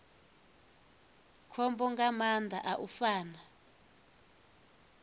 khombo nga maanḓa u fana